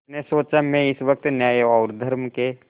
उसने सोचा मैं इस वक्त न्याय और धर्म के